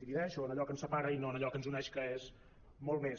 divideix o en allò que ens separa i no en allò que ens uneix que és molt més